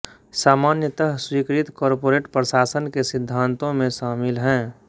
सामान्यतः स्वीकृत कॉर्पोरेट प्रशासन के सिद्धांतों में शामिल हैं